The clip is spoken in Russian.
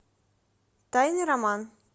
тайный роман